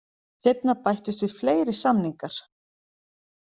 Seinna bættust við fleiri samningar.